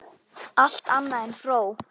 Allt annað en fró!